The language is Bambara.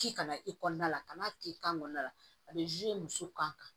K'i kana i kɔnɔna la ka n'a k'i kan kɔnɔna la a bɛ muso kan